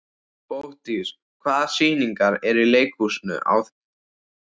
Bogdís, hvaða sýningar eru í leikhúsinu á þriðjudaginn?